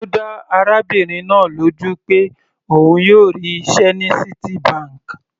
Ó dá arábìnrin náà lójú pé òun yóò rí iṣẹ́ ní Citibank.